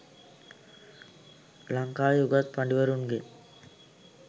ලංකාවේ උගත් පඬිවරුන්ගෙන්